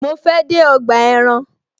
Mo fe de ọgbà ẹran